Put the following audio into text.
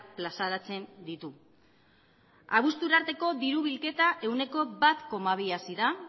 plazaratzen ditu abuztura arteko diru bilketa ehuneko bat koma bi hazi da